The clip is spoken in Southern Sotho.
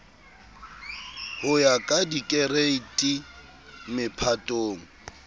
ho ya ka dikereiti mephatong